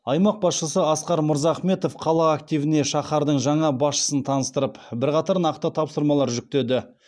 аймақ басшысы асқар мырзахметов қала активіне шаһардың жаңа басшысын таныстырып бірқатар нақты тапсырмалар жүктеді